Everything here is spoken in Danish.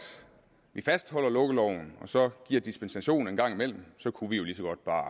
vi fastholder lukkeloven og så giver dispensation en gang mellem kunne vi jo lige så godt bare